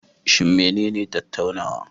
Shin menene tattaunawa?